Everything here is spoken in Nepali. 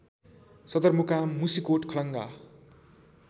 सदरमुकाम मुसिकोट खलङ्गा